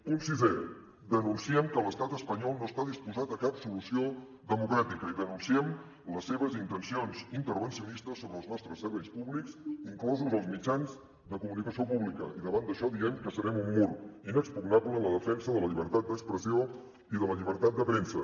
punt sisè denunciem que l’estat espanyol no està disposat a cap solució democràtica i denunciem les seves intencions intervencionistes sobre els nostres serveis públics inclosos els mitjans de comunicació públics i davant d’això diem que serem un mur inexpugnable en la defensa de la llibertat d’expressió i de la llibertat de premsa